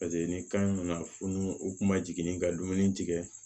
Paseke ni kan in nana funu u kun ma jigin ka dumuni tigɛ